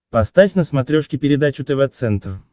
поставь на смотрешке передачу тв центр